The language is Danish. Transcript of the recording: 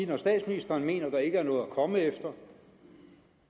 når statsministeren mener at der ikke er noget at komme efter